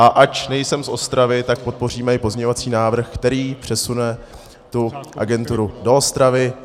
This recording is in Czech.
A ač nejsem z Ostravy, tak podpoříme i pozměňovací návrh, který přesune tu agenturu do Ostravy.